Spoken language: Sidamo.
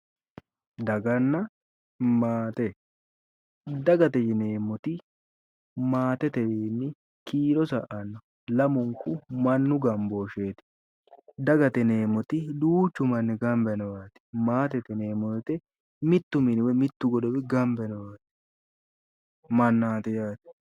Daganna maate, dagate yineemmoti maatetewiinni kiiro sa'anno lamunku mannu gambooshsheeti. dagate yineemmoti duuchu manni gamba yinowaati. maatete yineemmo woyiite mittu mini woyi mittu godowi gamba yino mannaati yaate.